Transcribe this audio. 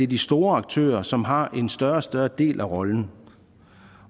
de store aktører som har en større og større del af rollen